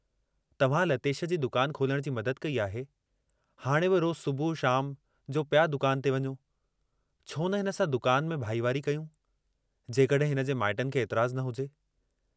तव्हां लतेश जी दुकान खोलण जी मदद कई आहे, हाणे बि रोज़ु सुबुह शाम जो पिया दुकान ते वञो, छोन हिन सां दुकान में भाईवारी कयूं, जेकॾहिं हिनजे माइटनि खे एतराज़ न हुजे।